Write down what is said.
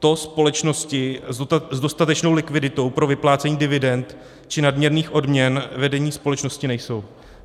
To společnosti s dostatečnou likviditou pro vyplácení dividend či nadměrných odměn vedení společnosti nejsou.